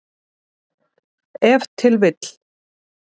Ef til vill!